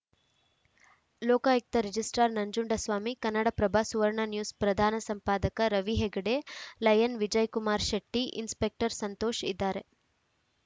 Lokayukta registrar Nanjundaswamy Kannada Prabha Suvarna news ಪ್ರಧಾನ ಸಂಪಾದಕ Ravi Hegde lion Vijayakumar Shetty inspector Santosh ಇದಾರೆ